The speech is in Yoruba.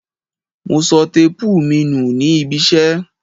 Mo sọ téépù mi nù nih ibiṣẹ́.